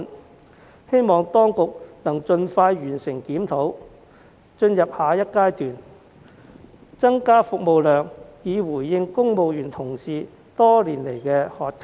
我促請當局盡快完成檢討並進入下一階段，務求增加服務量，回應公務員多年來的渴求。